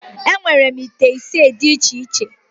Enwere m ite isii dị iche iche